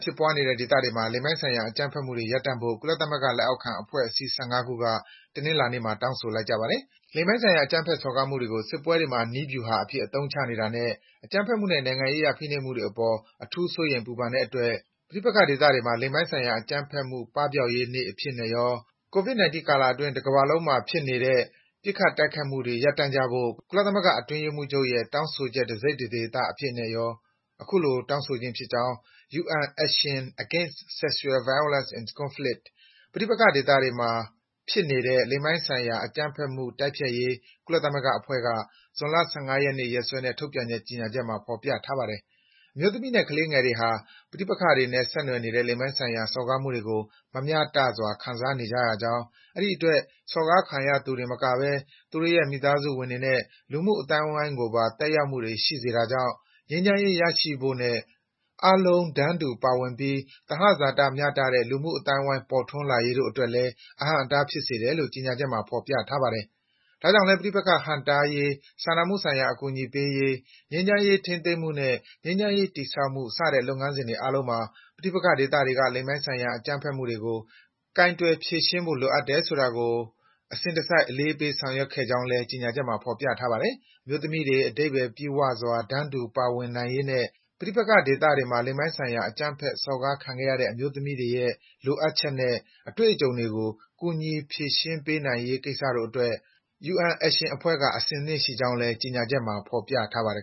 ဖြစ်ပွားနေတဲ့ဒေသတွေမှာ လိင်ပိုင်းဆိုင်ရာ အကြမ်းဖက်မှုတွေ ရပ်တန့်ဖို့ ကုလသမဂ္ဂလက်အောက်ခံ အဖွဲ့အစည်း ၁၅ ခုက တနင်္လာနေ့မှာ တောင်းဆိုလိုက်ကြပါတယ်။ လိင်ပိုင်းဆိုင်ရာ အကြမ်းဖက်စော်ကားမှုတွေကို စစ်ပွဲတွေမှာ နည်းဗြူဟာအဖြစ် အသုံးချနေတာနဲ့ အကြမ်းဖက်မှုနဲ့ နိုင်ငံရေးအရ ဖိနှိပ်မှုတွေအပေါ် အထူးစိုးရိမ် ပူပန်တဲ့အတွက် ပဋိပက္ခဒေသတွေမှာ လိင်ပိုင်းဆိုင်ရာအကြမ်းဖက်မှု ပပျောက်ရေးနေ့အဖြစ်ရော၊ Covid-19 ကာလအတွင်း တကမ္ဘာလုံးမှာ ဖြစ်ပေးနေတဲ့ ပစ်ခတ် တိုက်ခိုက်မှုတွေ ရပ်တန့်ကြဖို့ ကုလသမဂ္ဂအတွင်းရေးမှူးချုပ်ရဲ့ တောင်းဆိုချက် တစိတ် တဒေသအဖြစ်နဲ့ရော တောင်းဆိုခြင်းဖြစ်ကြောင်း UN Action Against Sexual Violence in Conflict ပဋိပက္ခဒေသတွေမှာ ဖြစ်ပေးနေတဲ့ လိင်ပိုင်းဆိုင်ရာ အကြမ်းဖက်မှု တိုက်ဖျက်ရေး ကုလသမဂ္ဂအဖွဲ့က ဇွန်လ ၁၅ ရက်နေ့ ရက်စွဲနဲ့ ထုတ်ပြန်တဲ့ကြေညာချက်မှာ ဖော်ပြထားပါတယ်။ အမျိုးသမီးနဲ့ မိန်းကလေးငယ်တွေဟာ ပဋိပက္ခတွေနဲ့ဆက်နွယ်နေတဲ့ လိင်ပိုင်းဆိုင်ရာ စော်ကားမှုတွေကို မမျှတစွာ ခံနေရကြောင်း၊ အဲဒီအတွက် စော်ကားခံသူတင်မကဘဲ သူတို့ရဲ့ မိသားစုဝင်တွေနဲ့ လူမှုအသိုင်းကိုပါ သက်ရောက်မှုတွေ ရှိစေတာကြောင့် ငြိမ်းချမ်းရေး ရရှိဖို့နဲ့ အားလုံးတန်းတူပါဝင်ပြီး သဟဇာတမျှတတဲ့ လူမှုအသိုင်းအဝိုင်း ပေါ်ထွန်းလာရေးတို့အတွက်လည်း အဟန့်အတား ဖြစ်စေတယ်လို့ ကြေညာချက်မှာ ဖော်ပြထားပါတယ်။ ဒါကြောင့်လည်း ပဋိပက္ခဟန့်တားရေး၊ စာနာမှုဆိုင်ရာ အကူအညီပေးရေး၊ ငြိမ်းချမ်းရေးထိန်းသိမ်းမှုနဲ့ ငြိမ်းချမ်းရေးတည်ဆောက်မှု စတဲ့ လုပ်ငန်းစဉ်တွေအားလုံးမှာ ပဋိပက္ခဒေသတွေက လိင်ပိုင်းဆိုင်ရာ အကြမ်းဖက်မှုတွေကို ကိုင်တွယ် ဖြေရှင်းဖို့လိုအပ်တယ်ဆိုတာကို အစဉ်တစိုက် အလေးပေး ဆောင်ရွက်ခဲ့ကြောင်းလည်း ကြေညာချက်မှာ ဖော်ပြထားပါတယ်။ အမျိုးသမီးတွေ အဓိပ္ပာယ်ပြည့်ဝစွာ တန်းတူပါဝင်နိုင်ရေးနဲ့ ပဋိပက္ခတွေမှာ လိင်ပိုင်းဆိုင်ရာ အကြမ်းဖက်စော်ကားခံခဲ့ရတဲ့ အမျိုးသမီးတွေရဲ့ လိုအပ်ချက်နဲ့ အတွေ့အကြုံတွေကို ကူညီ ဖြေရှင်းပေးနိုင်ရေးကိစ္စတို့အတွက် UN Action အဖွဲ့က အဆင်သင့်ရှိကြောင်းလည်း ကြေညာချက်မှာ ဖော်ပြထားပါတယ်